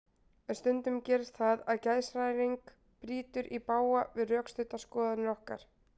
En stundum gerist það að geðshræring brýtur í bága við rökstuddar skoðanir okkar.